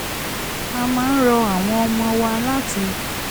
a máa ń rọ àwọn ọmọ wa láti